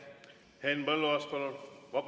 Henn Põlluaas, palun!